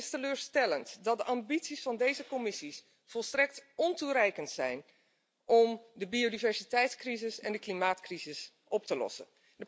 Het is teleurstellend dat de ambities van deze Commissie volstrekt ontoereikend zijn om de biodiversiteitscrisis en de klimaatcrisis op te lossen.